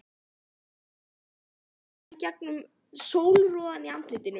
Fann að hann roðnaði í gegnum sólroðann í andlitinu.